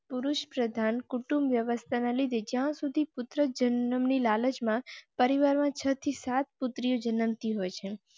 પુરુષપ્રધાન કુટુંબ વ્યવસ્થા ના લીધે જહાઁ સુધી પુત્ર જન્મ ની લાલચ માં પરિવાર માં છથી સાત પુત્રીઓ જન તી હોય છે.